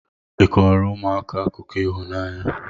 ị kọọrọ ụmụaka akụkọ ịhụnanya?